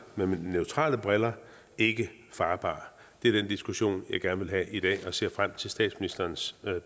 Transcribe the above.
mine neutrale briller ikke farbar det er den diskussion jeg gerne vil have i dag og jeg ser frem til statsministerens